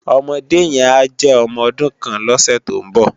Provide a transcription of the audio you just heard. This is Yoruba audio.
Òmòdé yèn á jè òmò òdún kán lòsè tó n bò